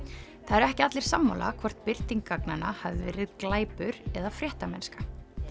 eru ekki allir sammála hvort birting gagnanna hafi verið glæpur eða fréttamennska